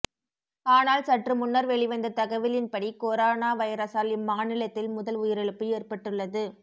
ஆனால் சற்று முன்னர் வெளிவந்த தகவலின்படி கொரோனா வைரஸால் இம்மாநிலத்தில் முதல் உயிரிழப்பு ஏற்பட்டுள்ளது